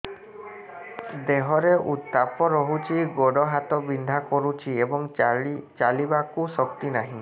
ଦେହରେ ଉତାପ ରହୁଛି ଗୋଡ଼ ହାତ ବିନ୍ଧା କରୁଛି ଏବଂ ଚାଲିବାକୁ ଶକ୍ତି ନାହିଁ